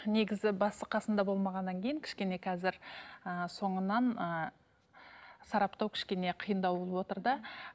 негізі басы қасында болмағаннан кейін кішкене қазір ііі соңынан ыыы сараптау кішкене қиындау болыватыр да